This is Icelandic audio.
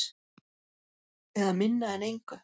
Eða minna en engu.